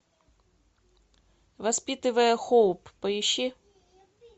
воспитывая хоуп поищи